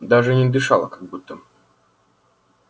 даже и не дышала как будто